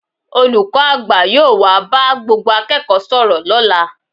Olùkọ́ àgbà yóò wá bá gbogbo akẹ́kọ̀ọ́ sọ̀rọ̀ lọ́la